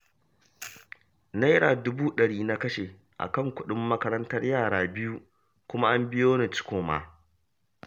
Naira dubu ɗari na kashe a kan kuɗin makarantar yara biyu, kuma an biyo ni ciko ma